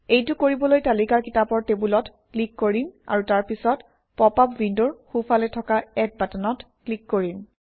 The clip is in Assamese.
এইটো কৰিবলৈ তালিকাৰ কিতাপৰ টেবুলত ক্লিক কৰিম আৰু তাৰপিছত পপআপ উইণ্ডৰ সোঁফালে থকা এড বাটনত ক্লিক কৰিম